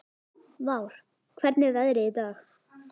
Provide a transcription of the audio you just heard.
Vár, hvernig er veðrið í dag?